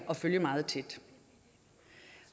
at følge meget tæt